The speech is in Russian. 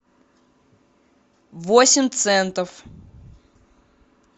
восемь центов